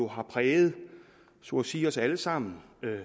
har præget så at sige os alle sammen